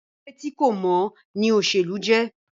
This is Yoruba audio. Eré tí kò mọ́ ní òṣèlú jẹ́.